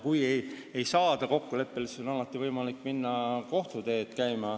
Kui ei saada kokkuleppele, siis on alati võimalik minna kohtuteed käima.